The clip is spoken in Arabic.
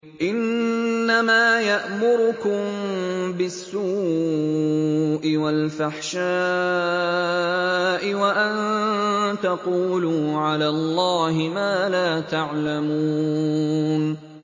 إِنَّمَا يَأْمُرُكُم بِالسُّوءِ وَالْفَحْشَاءِ وَأَن تَقُولُوا عَلَى اللَّهِ مَا لَا تَعْلَمُونَ